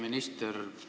Hea minister!